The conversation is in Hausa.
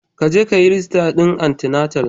Jeka kayi rijista din anti-natal.